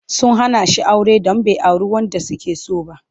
Sun hana shi aure don bai auri wadda suke so ba.